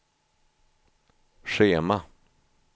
schema